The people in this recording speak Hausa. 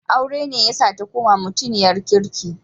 Aure ne yasa ta koma mutiniyar kirki.